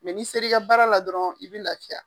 n'i seri ka baara la dɔrɔn i be lafiya.